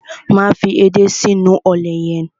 Máa fi edé sínú ọ̀lẹ̀ yẹn.